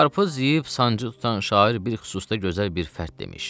Qarpız yeyib sancı tutan şair bir xüsusda gözəl bir fərd demiş.